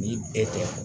Ni e tɛ